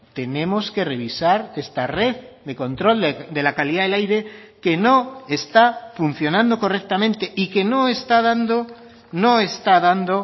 tenemos que revisar esta red de control de la calidad del aire que no está funcionando correctamente y que no está dando no está dando